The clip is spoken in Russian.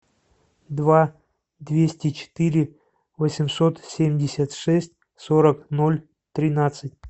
два двести четыре восемьсот семьдесят шесть сорок ноль тринадцать